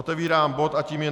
Otevírám bod a tím je